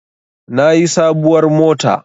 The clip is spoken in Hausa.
Na yi sabuwar mota